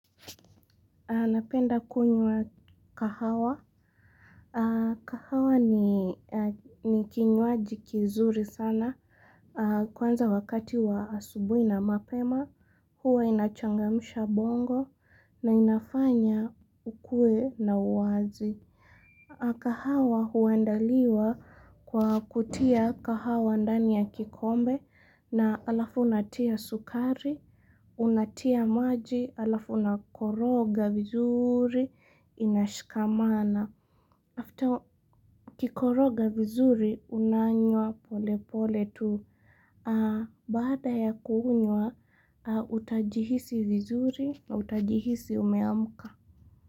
Napenda kunywa kahawa. Kahawa ni kinywaji kizuri sana kwanza wakati wa asubuhi na mapema. Huwa inachangamisha bongo na inafanya ukue na uwazi. Kahawa huandaliwa kwa kutia kahawa ndani ya kikombe na alafu unatia sukari. Unatia maji alafu una koroga vizuri inashikamana. After ukikoroga vizuri unanywa pole pole tu. Baada ya kuunywa utajihisi vizuri na utajihisi umeamka.